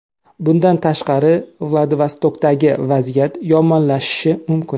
Bundan tashqari, Vladivostokdagi vaziyat yomonlashishi mumkin.